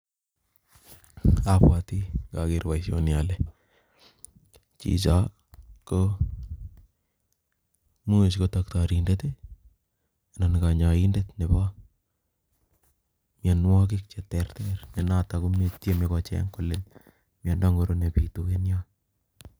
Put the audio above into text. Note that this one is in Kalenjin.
Abwoti ng'ager boisoni ale chicho ko imuch ko daktarindet anan kanyaindet nebo myanwogik che ter ter, ne noton komi tieme kocheng' kole myanda ng'oro nebitu en yoo